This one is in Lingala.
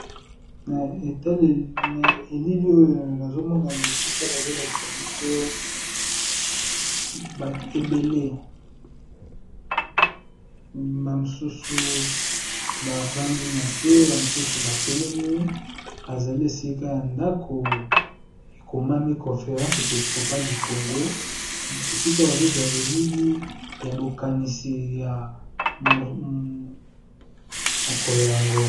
Na elili oyo nazomona esika bazolakisa biso batu ebele ba misusu bavandi nase ba misusu ba telemi bazali esika yandako ekomani conférence épiscopale du congo esika bazo zuwa elili yabokani ya mokoloyango.